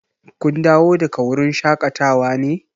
Kun dawo daga wurin shaƙatawa ne?